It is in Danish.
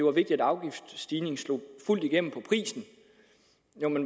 er vigtigt at afgiftsstigningen slår fuldt igennem på prisen